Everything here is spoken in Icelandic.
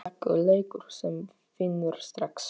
Slakur leikur sem vinnur strax!